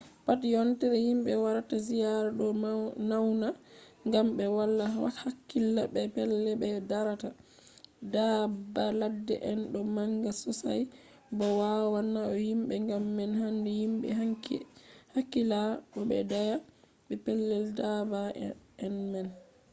pat yontere himɓe warata ziyaara ɗo nauna gam ɓe wala hakkila be pellel ɓe darata. daabba ladde en ɗo manga sosai bo wawan nauna himɓe gam man handi himɓe hakkila bo ɓe daaya be pellel daabba en man